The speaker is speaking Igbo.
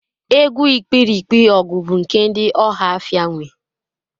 Egwu Ikpirikpi-ọgu bu nke ndi ohafia nwe